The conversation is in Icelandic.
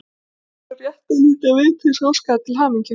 Ég ætlaði bara rétt að líta við til þess að óska þér til hamingju.